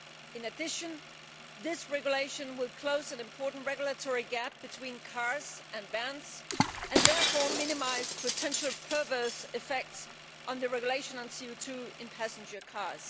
In addition, this regulation will close a major regulatory gap between cars and vans and therefore minimise potential perverse effects on the regulation on CO 2 in passenger cars.